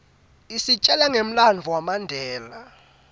isitjela ngemlandvo wamandela